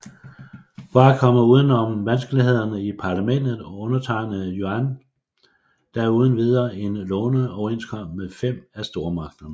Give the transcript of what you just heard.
For at komme uden om vanskelighederne i parlamentet undertegnede Yuan da uden videre en låneoverenskomst med 5 af stormagterne